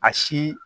A si